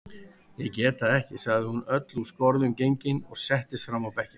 Ég get það ekki, sagði hún öll úr skorðum gengin og settist fram á bekkinn.